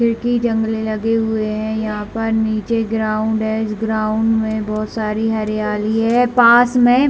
खिड़की जंगले लगे हुए है यहाँ पर नीचे ग्राउंड है इस ग्राउंड में बहुत सारी हरियाली है पास में--